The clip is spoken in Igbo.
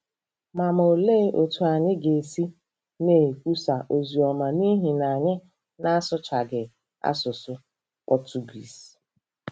Ma Ma olee otú anyị ga-esi na-ekwusa ozi ọma n’ihi na anyị na-asụchaghị asụsụ Pọtụgiiz?